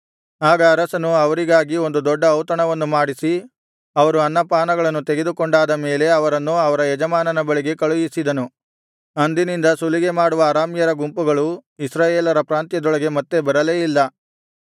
ಆಗ ಅರಸನು ಅವರಿಗಾಗಿ ಒಂದು ದೊಡ್ಡ ಔತಣವನ್ನು ಮಾಡಿಸಿ ಅವರು ಅನ್ನ ಪಾನಗಳನ್ನು ತೆಗೆದುಕೊಂಡಾದ ಮೇಲೆ ಅವರನ್ನು ಅವರ ಯಜಮಾನನ ಬಳಿಗೆ ಕಳುಹಿಸಿದನು ಅಂದಿನಿಂದ ಸುಲಿಗೆ ಮಾಡುವ ಅರಾಮ್ಯರ ಗುಂಪುಗಳು ಇಸ್ರಾಯೇಲರ ಪ್ರಾಂತ್ಯದೊಳಗೆ ಮತ್ತೆ ಬರಲೇ ಇಲ್ಲ